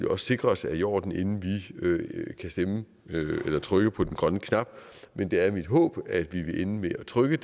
også sikre os er i orden inden vi kan trykke på den grønne knap men det er mit håb at vi vil ende med at trykke